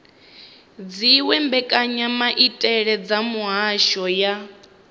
dziwe mbekanyamaitele dza mihasho ya